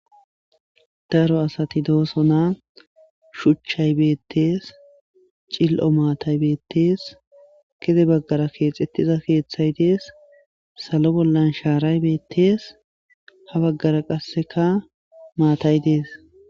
daro asati dooso na shuchchay beettees cil7o maatay beettees kide baggara keexettiza keeththay dees salo bollan shaaray beettees ha baggara qasseka maatay dees